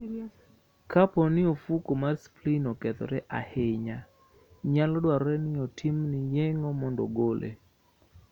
Kapo ni ofuko mar spleen okethore ahinya, nyalo dwarore ni otimni yeng'o mondo ogole.